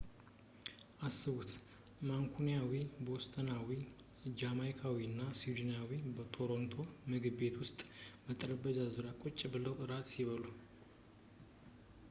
አስቡት ማንኩኒያዊ ቦስተናዊ ጃማይካዊ እና ሲድኒሳይደር በቶሮንቶ ምግብ ቤት ውስጥ በጠረጴዛ ዙሪያ ቁጭ ብለው እራት ሲበሉ